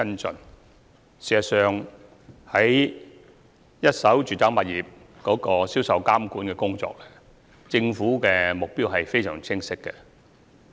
事實上，在一手住宅物業銷售監管的工作上，政府的目標非常清晰。